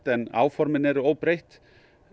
en áformin eru óbreytt